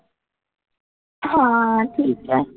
हां ठीक आहे.